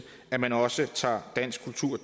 at man også tager dansk kultur